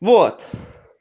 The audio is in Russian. вот